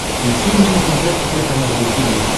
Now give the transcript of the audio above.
включи мне на смотрешке телеканал ру ти ви